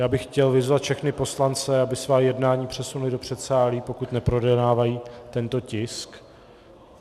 Já bych chtěl vyzvat všechny poslance, aby svá jednání přesunuli do předsálí, pokud neprojednávají tento tisk.